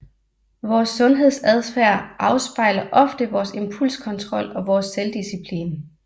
Vores sundhedsadfærd afspejler ofte vores impulskontrol og vores selvdisciplin